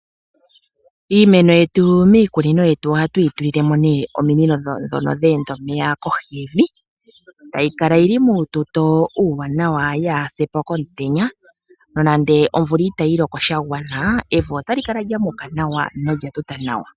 Iimeno yetu miikunino yetu ohatu yitulilemo ne ominino dhono dha enda omeya kohi yevi opo yikale yina uututo uuwanawa yaasepo komutenya nande omvula iitayiloko shagwana evi ota lyo kala lya mota